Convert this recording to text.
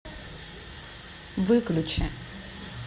выключи